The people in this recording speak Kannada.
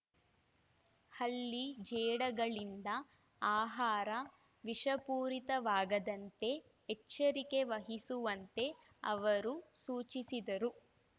ಹಲ್ಲಿ ಜೇಡಗಳಿಂದ ಆಹಾರ ವಿಷಪೂರಿತವಾಗದಂತೆ ಎಚ್ಚರಿಕೆ ವಹಿಸುವಂತೆ ಅವರು ಸೂಚಿಸಿದರು